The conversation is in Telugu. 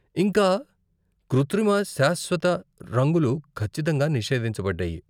ఇంకా, కృత్రిమ, శాశ్వత రంగులు ఖచ్చితంగా నిషేధించబడ్డాయి!